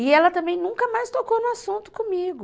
E ela também nunca mais tocou no assunto comigo.